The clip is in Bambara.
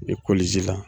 la